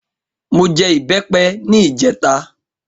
Mo jẹ ìbẹ́pẹ ní ìjẹta